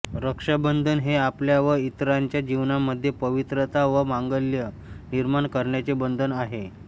रक्षाबंधन हे आपल्या व इतरांच्या जीवनामध्ये पवित्रता व मांगल्य निर्माण करण्याचे बंधन आहे